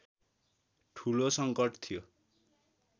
ठूलो संकट थियो